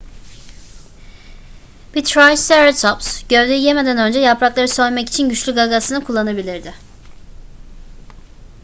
bir triceratops gövdeyi yemeden önce yaprakları soymak için güçlü gagasını kullanabilirdi